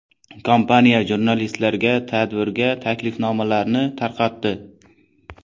Kompaniya jurnalistlarga tadbirga taklifnomalarni tarqatdi.